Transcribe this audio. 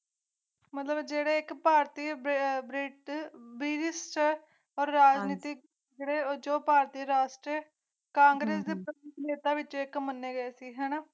ਮਧਰੇ ਜਿਹੇ ਇਕ ਭਾਰਤੀ ਬੇਐਬ ਰੇਟ ਬੈਰਿਸਟਰ ਰਣਨੀਤੀ ਹੈ ਉਦੋਂ ਭਾਰਤੀ ਰਾਸ਼ਟਰੀ ਕਾਂਗਰਸ ਸੱਤਾ ਵਿਚ ਇਕ ਮੰਨੇ ਗਏ